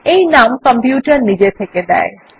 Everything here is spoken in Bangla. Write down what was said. এই নাম কম্পিউটার নিজে থেকে দেয়